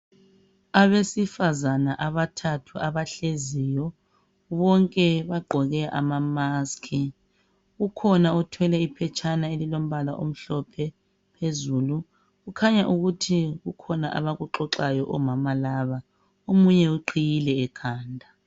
Abesifazana abathathu abahleziyo. Bonke bagqoke amamasiki. Kukhona ophethe iphetshana elilombala omhlophe phezulu. Kukhanya ukuthi kukhona abakuxoxayo omama laba. Omunye uqhiyile ekhanda.